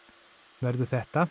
verður þetta